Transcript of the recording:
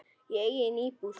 Í eigin íbúð.